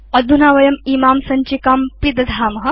अधुना वयं इमां सञ्चिकां पिदधाम